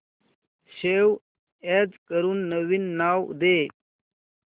save as करून नवीन नाव दे